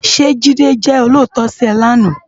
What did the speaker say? Sé Jide jè ólótò si è láná?